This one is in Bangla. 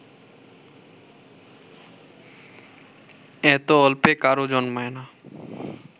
এত অল্পে কারও জন্মায় না